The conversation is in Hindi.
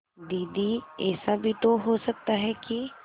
दीदी ऐसा भी तो हो सकता है कि